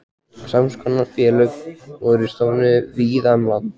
Sams konar félög voru stofnuð víða um land.